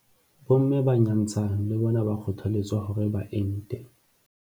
Bomme ba nyantshang le bona ba kgothaletswa hore ba ente.